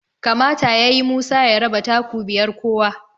kamata yayi Musa ya raba taku biyar kowa